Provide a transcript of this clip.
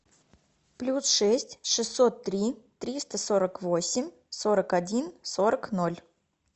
плюс шесть шестьсот три триста сорок восемь сорок один сорок ноль